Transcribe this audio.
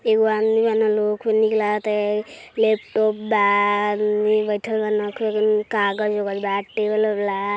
laptop बा table --